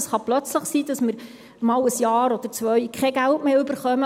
Es kann plötzlich sein, dass wir für ein oder zwei Jahre kein Geld mehr erhalten.